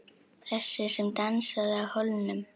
Þessi sem dansaði á hólnum.